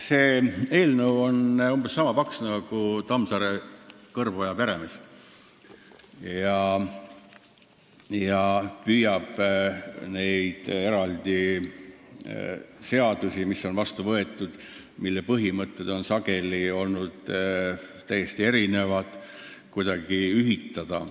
See eelnõu on umbes sama paks kui Tammsaare "Kõrboja peremees" ja püüab eraldi seadusi, mille põhimõtted on mõnes osas olnud täiesti erinevad, kuidagi ühildada.